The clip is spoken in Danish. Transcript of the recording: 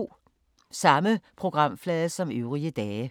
Samme programflade som øvrige dage